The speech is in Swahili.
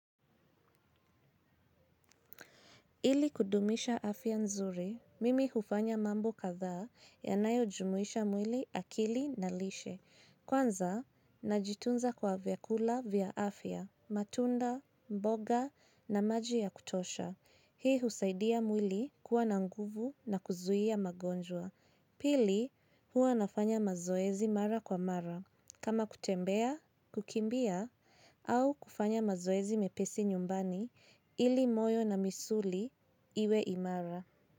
Ili kudumisha afya nzuri, mimi hufanya mambo kadhaa yanayojumuisha mwili, akili na lishe. Kwanza, najitunza kwa kula vyakula vya afya, matunda, mboga na maji ya kutosha. Hii husaidia mwili kuwa na nguvu na kuzuia magonjwa. Pili, huwa nafanya mazoezi mara kwa mara. Kama kutembea, kukimbia au kufanya mazoezi mepesi nyumbani ili moyo na misuli iwe imara.